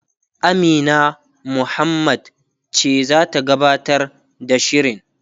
Amina Muhammad ce zata gabatar da shirin